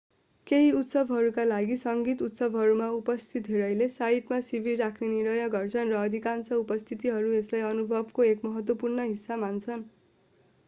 केही उत्सवहरूका लागि सङ्गीत उत्सवहरूमा उपस्थित धेरैले साइटमा शिविर राख्ने निर्णय गर्छन् र अधिकांश उपस्थितहरू यसलाई अनुभवको एक महत्त्वपूर्ण हिस्सा मान्छन्